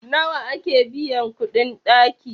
nawa ake biyan kuɗin ɗaki?